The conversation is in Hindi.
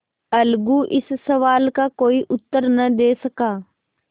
अलगू इस सवाल का कोई उत्तर न दे सका